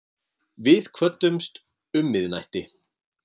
Við kvöddumst um miðnætti.